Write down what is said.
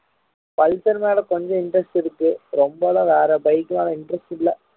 pulsar மேல கொஞ்சம் interest இருக்கு ரொம்ப எல்லாம் வேற bike மேல interest இல்ல